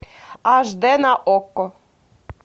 аш д на окко